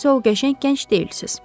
Siz o qəşəng gənc deyilsiniz.